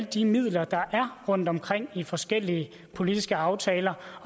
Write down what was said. de midler der er rundtomkring i forskellige politiske aftaler